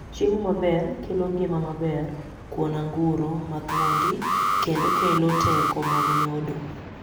chiemo maber kelo ngima maber kuon anguro mathuondi kendo kelo teko mag nyodo